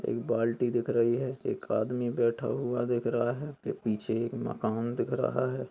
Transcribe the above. एक बाल्टी दिख रही है एक आदमी बैठा हुआ दिख रहा है पीछे एक मकान दिख रहा है।